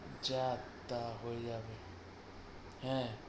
যাক তাহলে আমি হ্যাঁ,